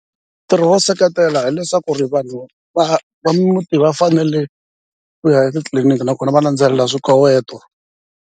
Ntirho wo seketela hileswaku ri vanhu va va muti va fanele ku ya etitliliniki nakona va landzelela swikoweto.